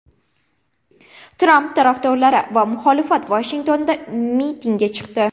Tramp tarafdorlari va muxolifat Vashingtonda mitingga chiqdi.